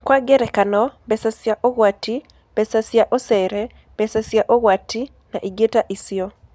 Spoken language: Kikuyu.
Kwa ngerekano, mbeca cia ũgwati, mbeca cia ũcere, mbeca cia ũgwati, na ingĩ ta icio.